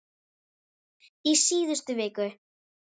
Í síðustu viku.